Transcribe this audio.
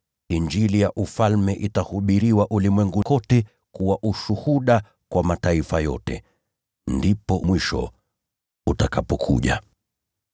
Injili ya Ufalme itahubiriwa ulimwenguni kote kuwa ushuhuda kwa mataifa yote. Ndipo mwisho utakapokuja.